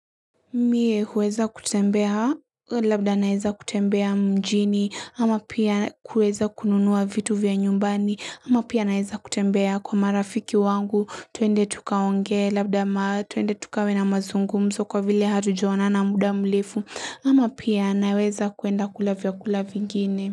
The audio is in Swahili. Mie uweza kutembea, labda naeza kutembea mjini, ama pia uweza kununuwa vitu vya nyumbani, ama pia naeza kutembea kwa marafiki wangu, tuende tuka onge, labda maa, tuende tuka wena mazungu, mso kwa vile hatu joona na muda mlefu, ama pia naweza kuenda kulavya kulavya vingine.